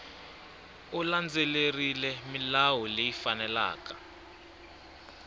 u landzelerile milawu leyi faneleke